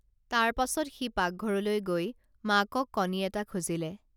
তাৰ পাছত সি পাগঘৰলৈ গৈ মাকক কণী এটা খুজিলে